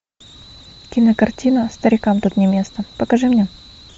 кинокартина старикам тут не место покажи мне